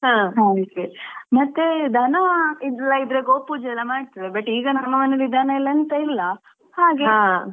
ಮತ್ತೇ ದನ ಎಲ್ಲಾ ಇದ್ರೆ ಗೋಪೂಜೆ ಮಾಡ್ತಿದ್ರು but ಈಗ ನಮ್ಮನೆಯಲ್ಲಿ ದನ ಎಂತಾ ಇಲ್ಲಾ ಹಾಗೇ .